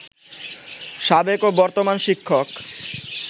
সাবেক ও বর্তমান শিক্ষক